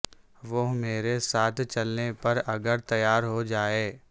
وہ میرے ساتھ چلنے پر اگر تیار ہو جائے